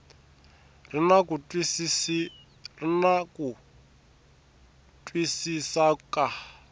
ri na ku twisisa ka